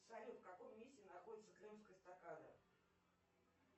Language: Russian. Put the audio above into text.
салют в каком месте находится крымская эстакада